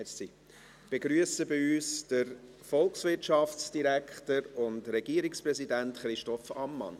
Ich begrüsse bei uns den Herrn Volkswirtschaftsdirektor und Regierungsratspräsidenten Christoph Ammann.